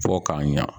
Fɔ k'a ɲa